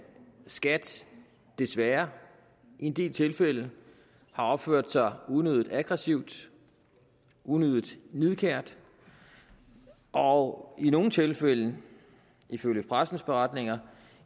skat desværre i en del tilfælde har opført sig unødig aggressivt unødig nidkært og i nogle tilfælde ifølge presseefterretninger